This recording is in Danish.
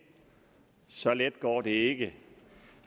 så let går det ikke